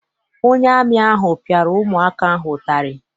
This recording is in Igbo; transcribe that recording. Onye amị ahụ piara ụmụ aka ahụ ụtarị.